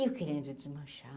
Eu querendo desmanchar.